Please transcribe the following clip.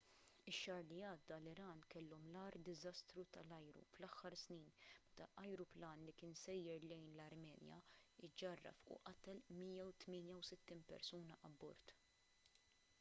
ix-xahar li għadda l-iran kellhom l-agħar diżastru tal-ajru fl-aħħar snin meta ajruplan li kien sejjer lejn l-armenja ġġarraf u qatel l-168 persuna abbord